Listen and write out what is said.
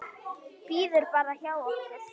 Bíður bara hjá okkur!